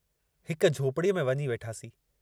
हिक झोपड़ीअ में वञी वेठासीं।